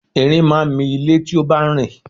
Ẹrin máa ń mi ilé tí ó bá ń rìn